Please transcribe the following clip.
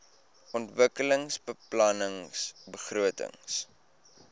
ontwikkelingsbeplanningbegrotings